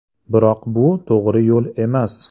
Biroq bu to‘g‘ri yo‘l emas.